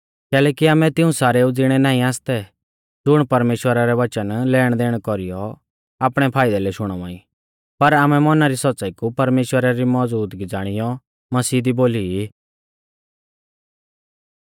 कैलैकि आमै तिऊं सारेउ ज़िणै नाईं आसतै ज़ुण परमेश्‍वरा रै वचन लेणदेण कौरीयौ आपणै फाइदै लै शुणावा ई पर आमै मौना री सौच़्च़ाई कु परमेश्‍वरा री मौज़ूदगी ज़ाणियौ मसीह दी बोली ई